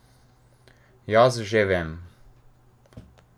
Jaz že vem.